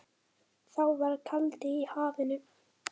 Þá var kaldi í hafinu.